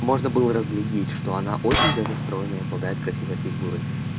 можно было разглядеть что она очень даже стройная и обладает красивой фигурой